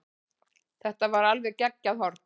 Þetta var alveg geggjað horn.